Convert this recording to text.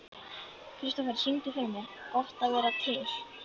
Kristofer, syngdu fyrir mig „Gott að vera til“.